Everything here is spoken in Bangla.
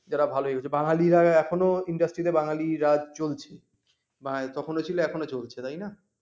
যারা ভালো হয়েছে বাঙালিরা এখনো industry তে বাঙালি রাজ চলছে। বা তখনো ছিল এখনো চলছে তাই না